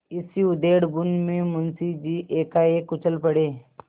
इसी उधेड़बुन में मुंशी जी एकाएक उछल पड़े